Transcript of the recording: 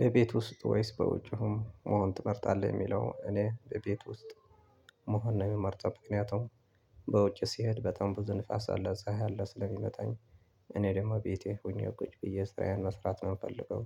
በቤት ውስጥ ወይስ በውጪ መሆን ትመርጣለህ? የሚለው እኔ በቤት ውስጥ መሆን ነው የምመርጠው። ምክንያቱም በውጭ ሲሄድ በጣም ብዙ ንፋስ አለ ፀሀይ አለ ስለምመታኝ እኔ ደግሞ ቤቴ ሆኜ እኮ ብዬ ስራዬን መስራት ነው የምፈልገው።